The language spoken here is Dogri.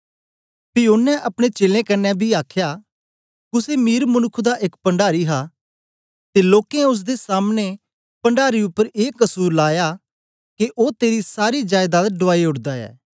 पी ओनें अपने चेलें कन्ने बी आखया कुसे मीर मनुक्ख दा एक पण्डारी हा ते लोकें ओसदे सामने पणडारी उपर ए कसुर लाया के ओ तेरी सारी जायदाद डुआई ओडदा ऐ